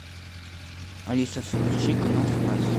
алиса включи канал спас